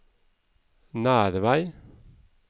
Nervei